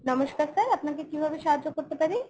নমস্কার sir আপনাকে কীভাবে সাহায্য করতে পারি ?